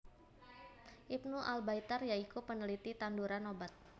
Ibnu Al Baitar ya iku peneliti tanduran obat